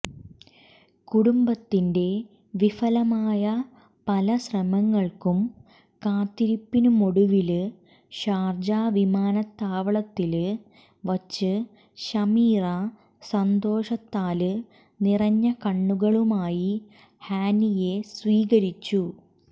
കുടുംബത്തിന്റെ വിഫലമായ പല ശ്രമങ്ങള്ക്കും കാത്തിരിപ്പിനുമൊടുവില് ഷാര്ജ വിമാനത്താവളത്തില് വച്ച് ശമീറ സന്തോഷത്താല് നിറഞ്ഞ കണ്ണുകളുമായി ഹാനിയെ സ്വീകരിച്ചു